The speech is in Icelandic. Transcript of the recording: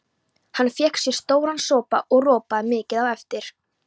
Hann fékk sér stóran sopa og ropaði mikið á eftir.